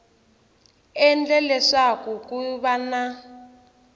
endle leswaku ku va na